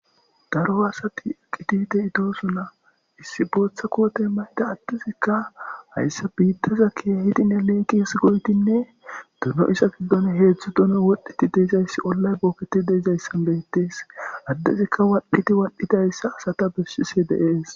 Daro asati eqqidi de7iyay doosona. Booththa kootey maydda addetiikka hayssa biittaza keehidinne leeqis goyddinne dono iza giddon heedzdzu dono wodhdhidi de7izayssi ollay booketi deezayssan beettees. addezikka wadhidi wadhidi asata besishe dee7es.